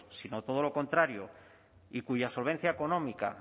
sino todo lo contrario y cuya solvencia económica